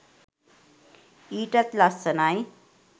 ඊටත් ලස්සනයි.